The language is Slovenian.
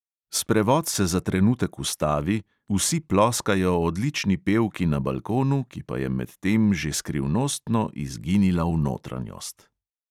Sprevod se za trenutek ustavi, vsi ploskajo odlični pevki na balkonu, ki pa je medtem že skrivnostno izginila v notranjost.